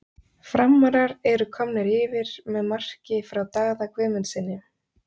Framarar eru komnir yfir með marki frá Daða Guðmundssyni!!